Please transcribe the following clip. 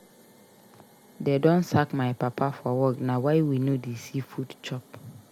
Dey don sack my papa for work na why we no dey see food chop.